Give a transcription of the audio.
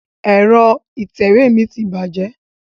Ẹ̀rọ ìtẹ̀wé mi ti bàjẹ́.